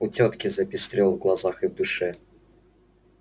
у тётки запестрило в глазах и в душе